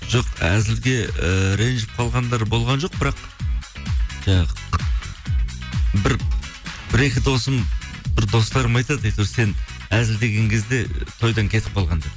жоқ әзілге ііі ренжіп қалғандар болған жоқ бірақ жаңағы бір екі досым бір достарым айтады әйтеуір сен әзілдеген кезде тойдан кетіп қалған деп